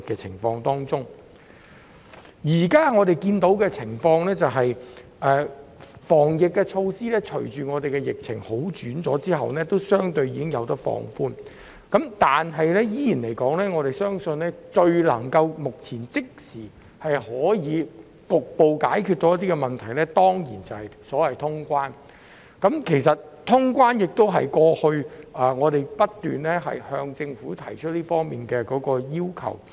雖然我們現時所看到的，是隨着本地疫情有所改善，抗疫措施已相對放寬，但我仍要指出一點，就是我們相信目前最能即時局部解決問題的方法，是恢復通關，這亦是我們過去不斷向政府提出的要求。